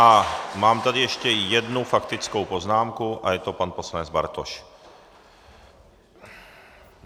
A mám tady ještě jednu faktickou poznámku a je to pan poslanec Bartoš.